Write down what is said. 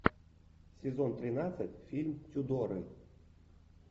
сезон тринадцать фильм тюдоры